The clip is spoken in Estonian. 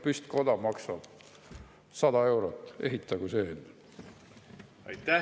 Püstkoda maksab 100 eurot, ehitage selline.